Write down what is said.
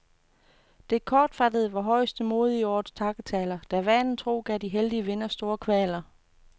Det kortfattede var højeste mode i årets takketaler, der vanen tro gav de heldige vindere store kvaler.